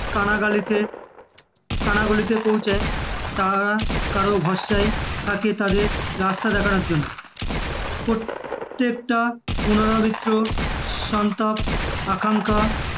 কানাগলিতে কানাগলিতে পৌঁছায় তারা কারো ভরসায় থাকে তাদের রাস্তা দেখানোর জন্য, প্রত্যেকটা পুনরাবৃত্ত সন্তাপ, আকাঙ্খা আর